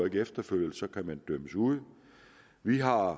ikke efterfølges kan man dømmes ude vi har